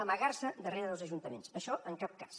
amagar se darrere dels ajuntaments això en cap cas